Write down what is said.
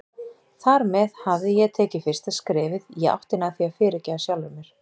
Þar með hafði ég tekið fyrsta skrefið í áttina að því að fyrirgefa sjálfri mér.